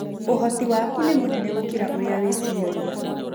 Ũhoti waku nĩ mũnene gũkĩra ũrĩa wĩciragia.